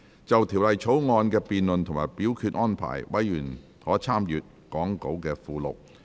就《條例草案》的辯論及表決安排，委員可參閱講稿附錄。